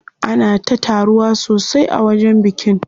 Ana ta taruwa sosai a wajen bikin.